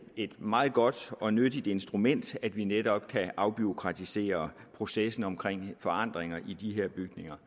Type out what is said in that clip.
et meget godt og nyttigt instrument at vi netop kan afbureaukratisere processen omkring forandringer i de her bygninger